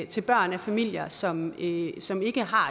til børn af familier som ikke som ikke har